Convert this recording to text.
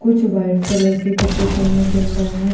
कुछ white colour के कपड़े पन्नी के अन्दर हैं।